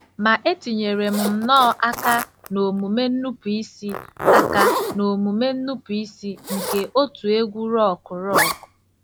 Ma etinyere m nnọọ aka n'omume nnupụisi aka n'omume nnupụisi nke òtù egwú rock rock.